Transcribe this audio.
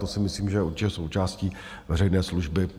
To si myslím, že je určitě součástí veřejné služby.